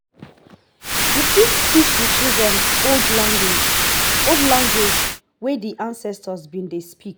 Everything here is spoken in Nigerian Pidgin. you fit teach di children old language language wey di ancestor been dey speak